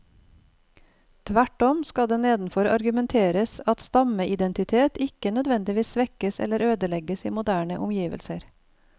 Tvert om skal det nedenfor argumenteres at stammeidentiteten ikke nødvendigvis svekkes eller ødelegges i moderne omgivelser.